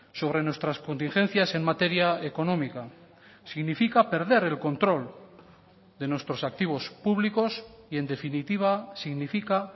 sobre nuestras contingencias en materia económica significa perder el control de nuestros activos públicos y en definitiva significa